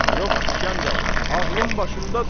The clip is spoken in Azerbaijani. Yox, İsgəndər, ağlım başımdadır.